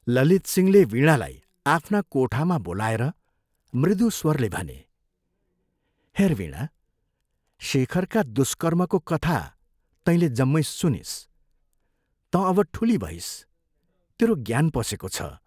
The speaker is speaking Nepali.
ललितसिंहले वीणालाई आफ्ना कोठामा बोलाएर मृदु स्वरले भने, " हेर् वीणा, शेखरका दुष्कर्मको कथा तँले जम्मै सुनिस् तँ अब ठूली भइस् तेरो ज्ञान पसेको छ।